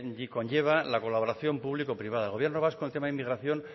que conlleva la colaboración público privada el gobierno vasco en tema inmigración